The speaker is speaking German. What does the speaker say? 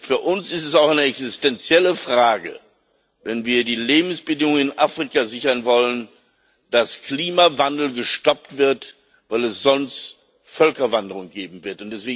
Für uns ist es auch eine existenzielle Frage, dass, wenn wir die Lebensbedingungen in Afrika sichern wollen, der Klimawandel gestoppt wird, weil es sonst Völkerwanderung geben wird.